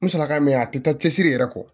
N sɔrɔ ka mɛn a tɛ taa cɛsiri yɛrɛ kɔ